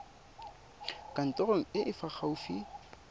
kantorong e e fa gaufi